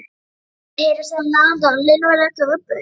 Það mátti heyra saumnál anda og línuverðirnir gufuðu upp.